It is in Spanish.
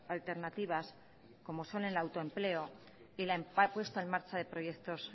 alternativas como son el autoempleo y la puesta en marcha de proyectos